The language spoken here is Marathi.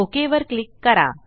ओक वर क्लिक करा